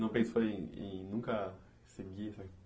Não pensou em em nunca seguir, né?